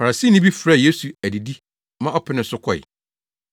Farisini bi frɛɛ Yesu adidi ma ɔpenee so kɔe.